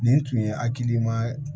Nin tun ye hakilimaya